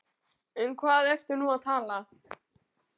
Um hvað ertu nú að tala?